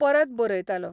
परत बरयतालो.